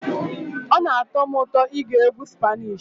Ọ na-atọ m ụtọ ige egwu spanishi.